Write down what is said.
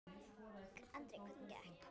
Andri: Hvernig gekk?